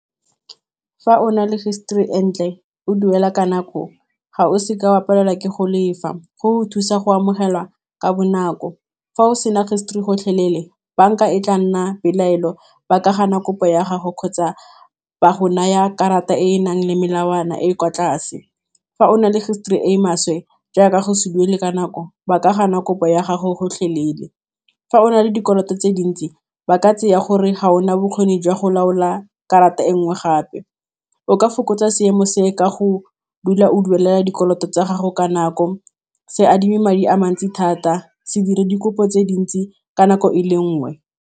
Fa o na le history entle o duela ka nako ga o seka wa palelwa ke go lefa, go go thusa go amogelwa ka bonako, fa o sena history gotlhelele banka e tla nna dipelaelo ba ka gana kopo ya gago kgotsa ba go naya karata e e nang le melawana e e kwa tlase, fa o na le history e maswe jaaka go se duela ka nako ba ka gana kopo ya gago gotlhelele, fa o na le dikoloto tse dintsi ba ka tseya gore ga ona bokgoni jwa go laola karata e nngwe gape. O ka fokotsa seemo se ka go dula o duela dikoloto tsa gago ka nako, se adime madi a mantsi thata, se dire dikopo tse dintsi ka nako e le nngwe.